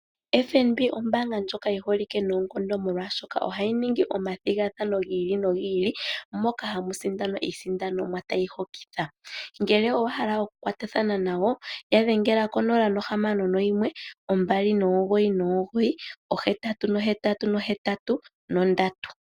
FNB ombaanga ndjoka yi holike noonkondo molwaashoka ohayi ningi omathigathano gi ili nogi ili moka hamu sindanwa iisindanomwa tayi hokitha. Ngele owa hala okukwatathana nayo ya dhengela ko0612998883.